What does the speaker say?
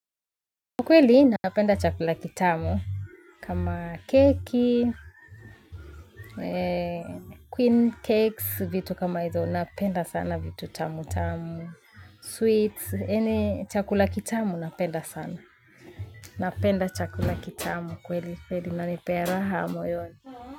Kweli napenda chakula kitamu kama keki queen cakes vitu kama hizo napenda sana vitu tamu tamu sweets yaani chakula kitamu napenda sana napenda chakula kitamu kweli kweli nanipea raha moyoni.